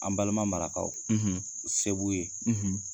An balima marakaw, , se b'u ye,